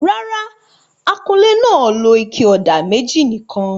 Rárá, akunlé náà lo ike ọ̀dà méjì nìkan.